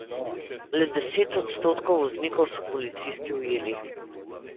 Le deset odstotkov voznikov so policisti ujeli.